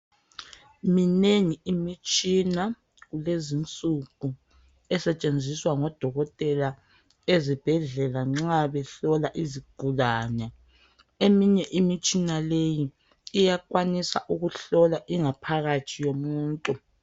Minengi imitshina kulezinsuku esetshenziswa ngodokotela ezibhedlela nxa behlola izigulane Eminye Imitshina leyi iyakwanisa ukuhlola ingaphakathi yomuntu